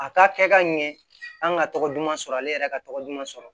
A ka kɛ ka ɲɛ an ka tɔgɔ duman sɔrɔ ale yɛrɛ ka tɔgɔ duman sɔrɔ